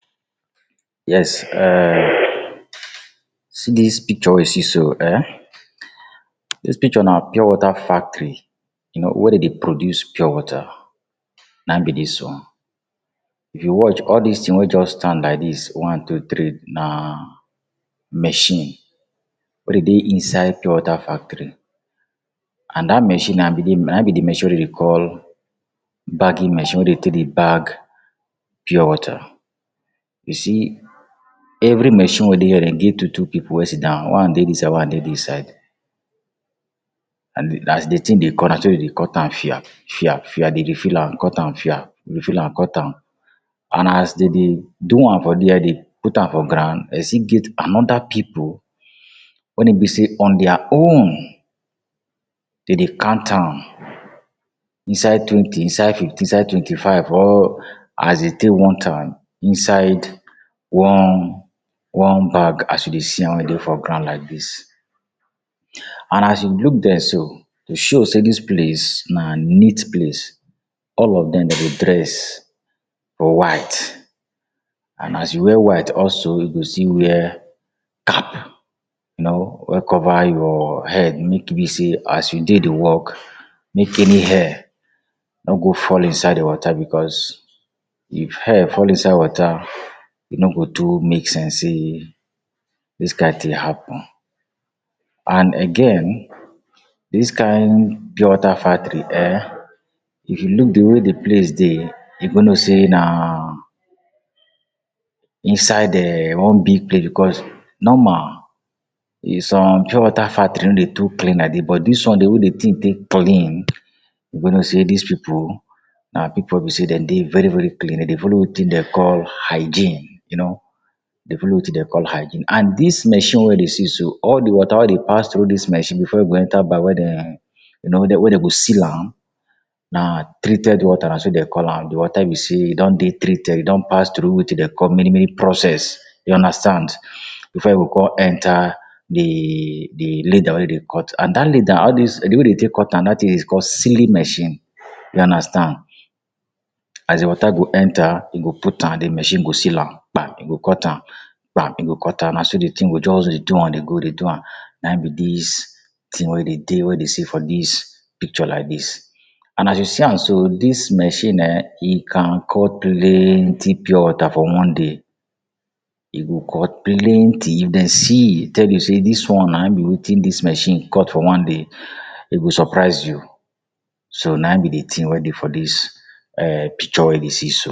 Yes um see dis picture wey you see so ehn, dis picture na pure water factory. You know, where de dey produce pure water na ein be dis one. If you watch, all dis tin wey juz stand like dis one, two, three, na machine wey dey dey inside pure water factory. An dat machine na be di na ein be di machine we de dey call bagging machine wey de take dey bag pure water. You see, every machine wey dey here de give two-two pipu wey sit down, one dey dis side, one dey dis side. An as di tin dey cut, na so de dey cut am fia fia fia. De dey fill am cut am fia, de dey fill am cut am. An as de dey do am for there, dey put am for ground, de still get another pipu wen e be sey on dia own de dey count am inside twenty, inside fifty, inside twenty-five or as dey take want am inside one one bag as you dey see am wey dey for ground like dis. An as you look there so, to show sey dis place na neat place, all of dem dey dress for white. An as you wear white also you go still wear cap. You know wey cover your head, make e be sey as you dey di work, make any hair no go fall inside di water becos if hair fall inside water, e no go too make sense sey dis kain tin happen. An again, dis kain pure water factory ehn, if you look di way di place dey, you go know sey na inside um one big place becos normal, in some pure water factory no dey too clean. But dis one, di way di tin take clean, you go know sey dis pipu, na pipu wey be sey den dey very-very clean. De dey follow wetin dem call hygiene. You know, de follow wetin dem call hygiene. An dis machine wey you dey see so, all di water wey dey pass through dis machine before e go enter bag wey de you know wey wey de go seal am, na treated water, na so de call am. Di water be sey e don dey treated, e don pass through wetin de call many-many process, you understand, before e go con enter di di leather wey de cut. An dat leather, all dis di way de take cut am, dat tin is call sealing machine, you understand. As di water go enter, you go put am, di machine go seal am pam, e go cut am pam. E go cut am. Na so di tin go juz dey do an dey go, dey do an. Na ein be dis tin wey de dey wey dey see for dis picture like dis. An as you see an so, dis machine ehn, e can cut plenti pure water for one day. E go cut plenti. If den see, tell me sey dis one na ein be wetin dis machine cut for one day, e go surprise you. So, na ein be di tin wey dey for dis um picture wey you dey see so.